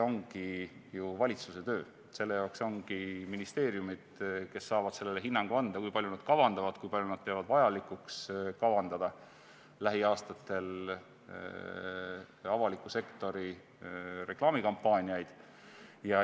ongi ju valitsuse töö, selle jaoks ongi ministeeriumid, kes saavad hinnangu anda, kui palju nad peavad vajalikuks kavandada lähiaastatel avaliku sektori reklaamikampaaniaid.